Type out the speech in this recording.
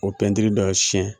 Ko pɛntiri dɔ bɛ fiɲɛ